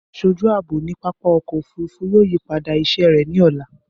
Aṣoju aabo ni pápá ọkọ ofurufu yoo yipada iṣẹ rẹ ni ọla.